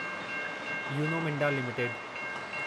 Uno Minda limited